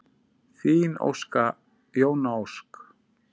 Þín Jóna Ósk.